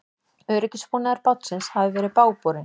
Öryggisbúnaður bátsins hafi verið bágborinn